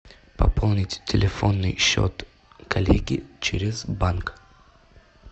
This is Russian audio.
пополнить телефонный счет коллеги через банк